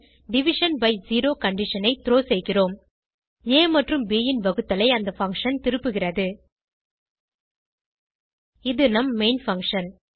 division by zero condition ஐ throw செய்கிறோம் ஆ மற்றும் ப் ன் வகுத்தலை அந்த பங்ஷன் திருப்புகிறது இது நம் மெயின் பங்ஷன்